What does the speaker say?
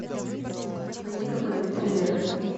найди какой нибудь триллер